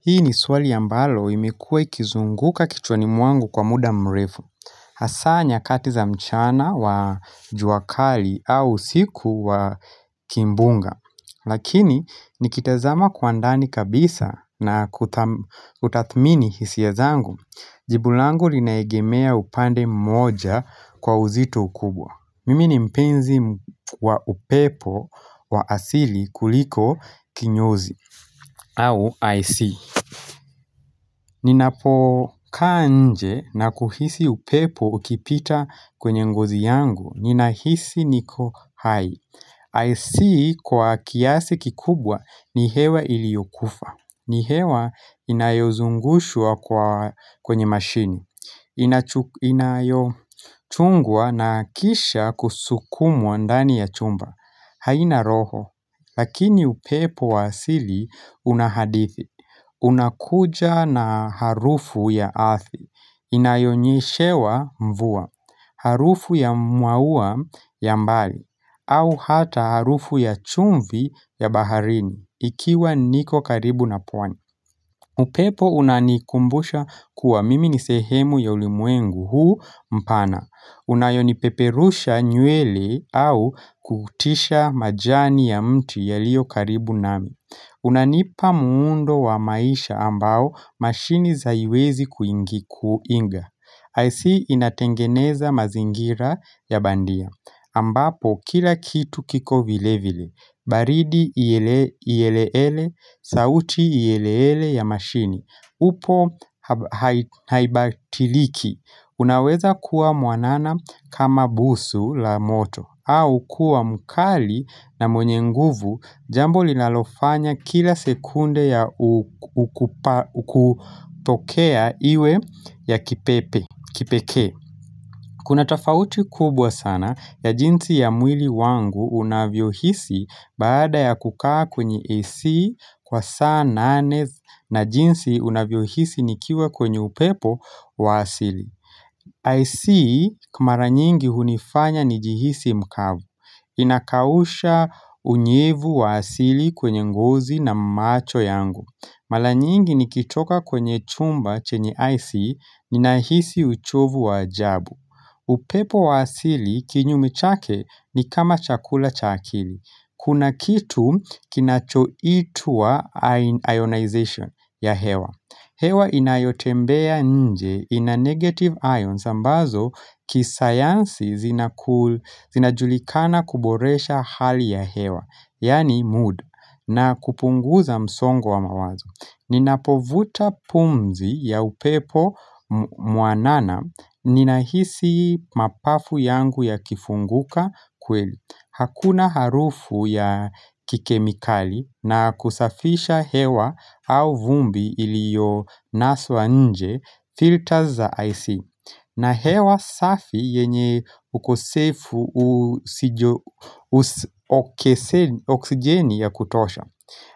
Hii ni swali ambalo imekuwa ikizunguka kichwani mwangu kwa muda mrefu. Hasaa nyakati za mchana wa juakali au siku wa kimbunga. Lakini nikitazama kwa ndani kabisa na kutathmini hisia zangu. Jibu langu linaegemea upande mmoja kwa uzito ukubwa. Mimi ni mpenzi wa upepo wa asili kuliko kinyozi au AC. Ninapo kaa nje nakuhisi upepo ukipita kwenye ngozi yangu, ninahisi niko hai Ac kwa kiasi kikubwa ni hewa iliokufa. Ni hewa inayozungushwa kwenye mashini. Inayochungwa na kisha kusukumwa ndani ya chumba haina roho. Lakini upepo wa asili una hadithi unakuja na harufu ya ardhi. Inayonyeshewa mvua. Harufu ya mwaua ya mbali. Au hata harufu ya chumvi ya baharini. Ikiwa niko karibu na pwani. Upepo unanikumbusha kuwa mimi ni sehemu ya ulimwengu huu mpana. Unayonipeperusha nywele au kutisha majani ya mti yaliyokaribu nami. Unanipa muundo wa maisha ambao mashini haiwezi kuiga. AC inatengeneza mazingira ya bandia ambapo kila kitu kiko vile vile. Baridi iyeleele, sauti iyeleele ya mashini. Upo haibadiliki. Unaweza kuwa mwanana kama busu la moto au kuwa mkali na mwenye nguvu Jambo linalofanya kila sekunde ya ukupokea iwe ya kipekee Kuna tofauti kubwa sana ya jinsi ya mwili wangu unavyo hisi baada ya kukaa kwenye AC kwa saa nane na jinsi unavyohisi nikiwa kwenye upepo wa asili AC kwa mara nyingi hunifanya nijihisi mkavu Inakausha unyevu wa asili kwenye ngozi na macho yangu Mara nyingi nikitoka kwenye chumba chenye AC ninahisi uchovu wa ajabu upepo wa asili kinyume chake ni kama chakula cha akili. Kuna kitu kinachoitwa ionization ya hewa hewa inayotembea nje ina negative ions ambazo, kisayansi zinajulikana kuboresha hali ya hewa, yaani mood, na kupunguza msongo wa mawazo. Ninapovuta pumzi ya upepo mwanana, ninahisi mapafu yangu yakifunguka kweli. Hakuna harufu ya kikemikali na kusafisha hewa au vumbi iliyonaswa nje, filters za AC. Na hewa safi yenye ukosefu oksijeni ya kutosha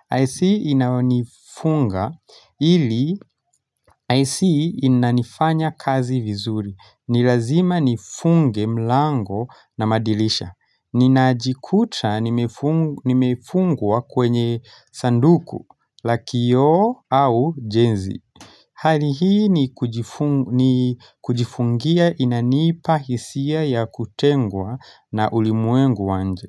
AC inayonifunga ili AC inanifanya kazi vizuri. Ni lazima nifunge mlango na madirisha Ninajikuta nimefungwa kwenye sanduku, la kioo au jenzi Hali hii ni kujifungia inanipa hisia ya kutengwa na ulimwengu wa nje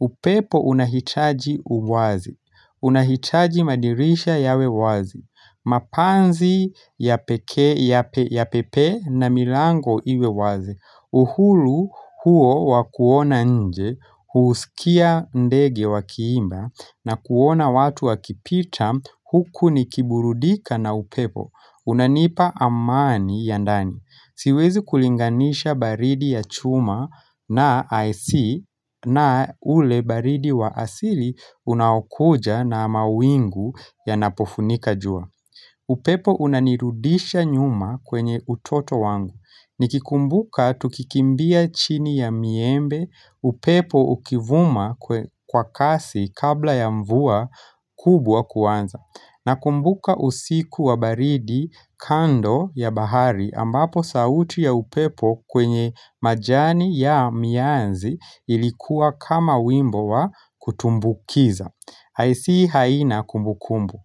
upepo unahitaji uwazi, unahitaji madirisha yawe wazi, mapanzi ya pekee yapepee na milango iwe wazi. Uhuru huo wa kuona nje, husikia ndege wakiimba na kuona watu wakipita huku nikiburudika na upepo, unanipa amani ya ndani. Siwezi kulinganisha baridi ya chuma na AC na ule baridi wa asili unaokuja na mawingu yanapofunika jua. Upepo unanirudisha nyuma kwenye utoto wangu. Niki kumbuka tukikimbia chini ya miembe, upepo ukivuma kwa kasi kabla ya mvua kubwa kuanza. Nakumbuka usiku wa baridi kando ya bahari ambapo sauti ya upepo kwenye majani ya mianzi ilikuwa kama wimbo wa kutumbukiza. AC haina kumbukumbu.